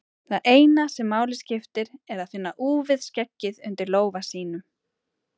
Það eina sem máli skiptir er að finna úfið skeggið undir lófa sínum.